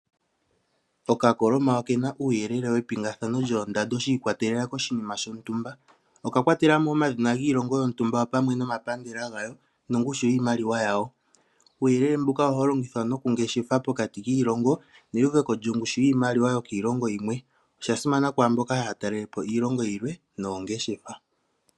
Okakoloma okena uuyelele epingathano lyoondando shii kwatelela koshinima shotumba, oka kwatela mo woo omadhina giilongo yotumba opamwe nomapandela gayo nongushu yiimaliwa yawo. Uuyelele mbuka ohawu longithwa nokungeshefa pokati kiilongo neuveko lyongushu yiimaliwa yokiilongo yimwe, osha simana kwaamboka haa talele po iilongo yilwe noongeshefa.